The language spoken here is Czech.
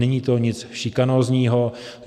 Není to nic šikanózního.